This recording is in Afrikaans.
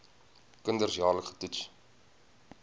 kinders jaarliks getoets